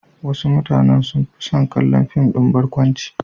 Wasu mutanen sun fi son kallon fim ɗin barkwanci.